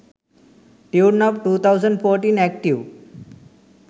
tune up 2014 active